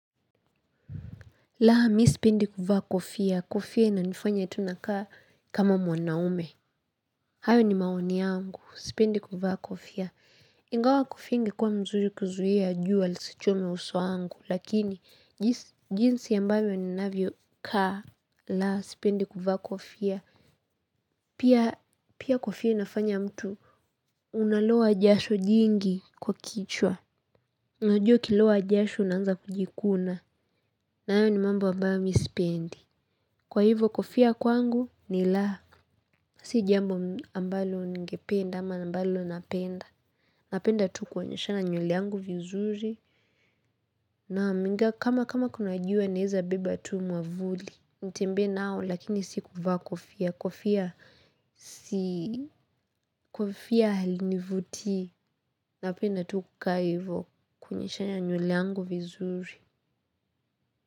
Mimi sipendi kuvaa kofia, kofia inanifanya eti nakaa kama mwanaume hayo ni maoni yangu. Sipendi kuvaa kofia. Ingawa kofia ingekuwa nzuri kuzuia jua lisichome uso wangu lakini, jinsi ambayo ninavyokaa. Laa, sipendi kuvaa kofia. Pia kofia nafanya mtu unalowa jasho jingi kwa kichwa. Unajua ukilowa jasho unaanza kujikuna. Na hayo ni mambo ambayo mi sipendi. Kwa hivi kofia kwangu ni lahasha. Si jambo ambalo ningependa ama ambalo unapenda. Napenda tu kuoneshana nywele yangu vizuri. Naam kama kama kunajua naweza beba tu mwavuli. Nitembe nao lakini si kuvaa kofia. Kofia si kofia halinivutii. Napenda tu kukaa hivo kuoneshana nywelle yangu vizuri.